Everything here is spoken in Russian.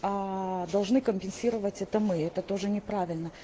должны компенсировать это мы это тоже неправильно